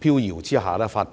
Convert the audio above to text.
情況下發表的。